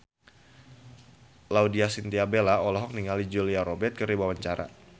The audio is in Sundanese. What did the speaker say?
Laudya Chintya Bella olohok ningali Julia Robert keur diwawancara